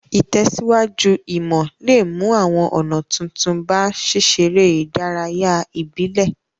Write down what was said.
Ìtẹ̀síwájú ìmò le mu àwon ònà tuntun ba síseré ìdárayá ìbílẹ̀